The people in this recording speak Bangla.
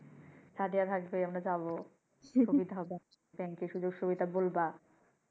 সাদিয়া থাকবে আমরা যাবো সুবিধা হবে ব্যাংকে সুযোগ সুবিধা বলবা